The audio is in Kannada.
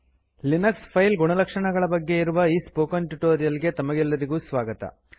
ಲಿನಕ್ಸ್ ಫೈಲ್ ಗುಣಲಕ್ಷಣಗಳ ಬಗ್ಗೆ ಇರುವ ಈ ಸ್ಪೋಕನ್ ಟ್ಯುಟೋರಿಯಲ್ ಗೆ ತಮಗೆಲ್ಲರಿಗೂ ಸ್ವಾಗತ